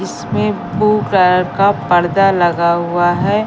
इसमें blue colour का पडदा लगा हुआ है।